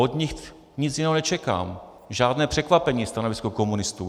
Od nich nic jiného nečekám, žádné překvapení stanovisko komunistů.